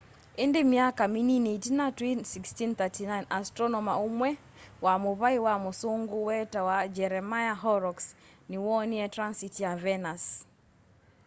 îndî myaka minini itina twî 1639 astronoma umwe wa muvai wa mûûsûngû wetawa jeremiah horrocks niwoonie transit ya venus